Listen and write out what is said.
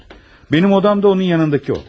Mənim otağım da onun yanındakı otaq.